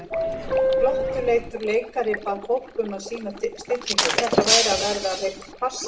Glottuleitur leikari bað fólk um að sýna stillingu, þetta væri að verða hreinn farsi.